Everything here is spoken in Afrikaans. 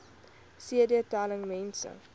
cd telling mense